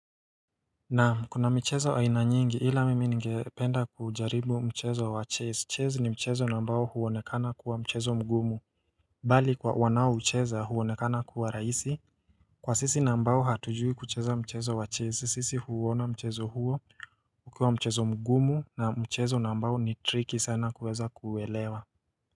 Naam kuna mchezo aina nyingi ila mimi ngependa kujaribu mchezo wa chase chase ni mchezo nambao huwonekana kuwa mchezo mgumu mbali kwa wanao mcheza huwonekana kuwa raisi Kwa sisi nambao hatujui kucheza mchezo wa chase sisi huwona mchezo huo kukua mchezo mgumu na mchezo nambao ni tricky sana kuweza kuwelewa.